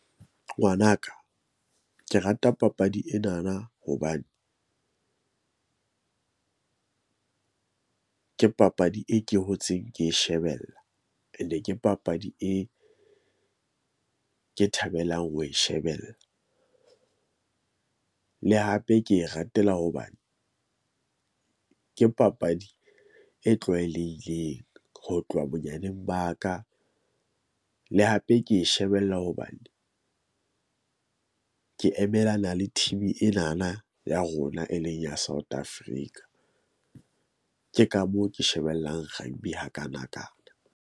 Ngwanaka ke rata papadi ena na hobane ke papadi e ke hotseng ke shebella. And-e ke papadi e ke e thabelang ho e shebella, le hape ke e ratela hobane ke papadi e tlwaelehileng, ho tloha bonyaneng ba ka le hape ke e shebella hobane, ke emelana le team-i ena na ya rona e leng ya South Africa. Ke ka moo ke shebellang rugby hakanakana.